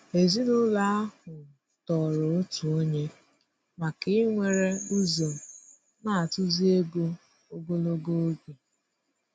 Èzìnụlọ ahụ tòrò òtù ònye maka íwere ụzọ n'atụ̀zụ̀ égò ogologo oge.